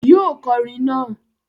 Yóò kọrin naa!